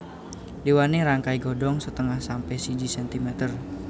Dawané rangkai Godhong setengah sampe siji cm